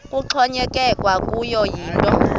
kuxhonyekekwe kuyo yinto